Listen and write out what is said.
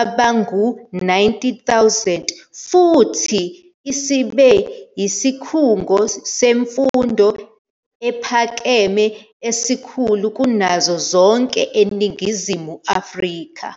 abangama-90,000 futhi isibe yisikhungo semfundo ephakeme esikhulu kunazo zonke eNingizimu Afrika.